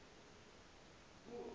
ixovwa nje ibe